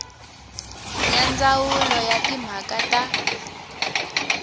ya ndzawulo ya timhaka ta